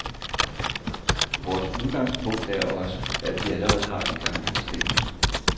Vores udgangspunkt er også, at vi allerede har de gamle bestemmelser.